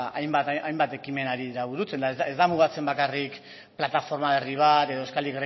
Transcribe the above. hainbat ekimen ari dira burutzen eta ez da mugatzen bakarrik plataforma berri bat edo euskal